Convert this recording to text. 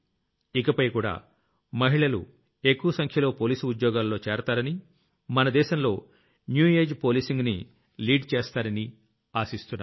ఇకపై కూడా మహిళలు ఎక్కువ సంఖ్యలో పోలీసు ఉద్యోగాల్లో చేరతారని మన దేశంలో న్యూ ఏజీఇ Policingని లీడ్ చేస్తారని ఆశిస్తున్నాను